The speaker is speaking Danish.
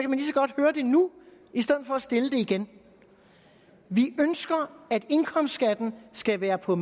godt høre det nu i stedet for at stille det igen vi ønsker at indkomstskatten skal være på